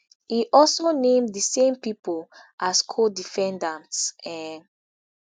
e also name di same pipo as codefendants um